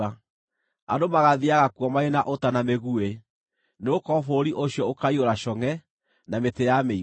Andũ magaathiiaga kuo marĩ na ũta na mĩguĩ, nĩgũkorwo bũrũri ũcio ũkaiyũra congʼe, na mĩtĩ ya mĩigua.